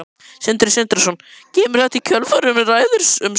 Sindri Sindrason: Kemur þetta í kjölfar umræðunnar um Straum?